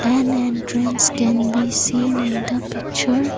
an entrance can be seen in the picture.